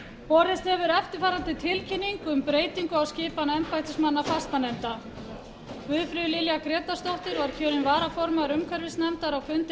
borist hefur eftirfarandi tilkynning um breytingu á skipan embættismanna fastanefnda guðfríður lilja grétarsdóttir var kjörin varaformaður umhverfisnefndar á fundi